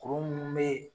Kuru munnu be yen